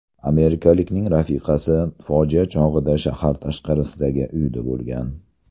Amerikalikning rafiqasi fojia chog‘ida shahar tashqarisidagi uyida bo‘lgan.